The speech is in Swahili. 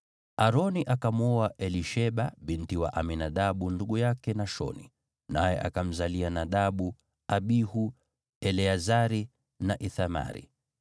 Aroni akamwoa Elisheba binti wa Aminadabu ndugu yake Nashoni, naye akamzalia Nadabu, Abihu, Eleazari na Ithamari.